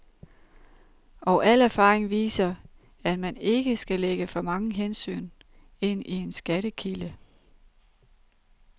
Og al erfaring viser, at man ikke skal lægge for mange hensyn ind i en skattekilde.